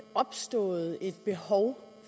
opstået et behov